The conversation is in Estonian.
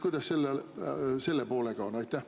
Kuidas selle poolega on?